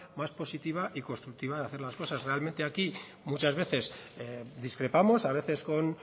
más positiva y constructiva de hacer las cosas realmente aquí muchas veces discrepamos a veces con